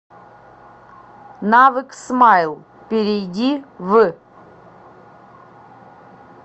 навык смайл перейди в